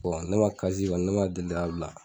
Ɔ ne ma ne ma deli k'a bila